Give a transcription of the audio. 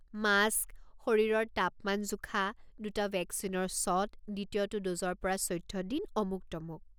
Mask, শৰীৰৰ তাপমান জোখা, দুটা ভেকচিনৰ শ্বট, দ্বিতীয়টো ড'জৰ পৰা চৈধ্য দিন, অমুক-তমুক।